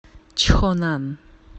чхонан